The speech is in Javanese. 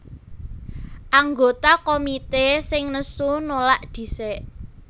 Anggota komité sing nesu nulak dhisik